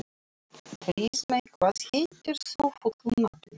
Friðmey, hvað heitir þú fullu nafni?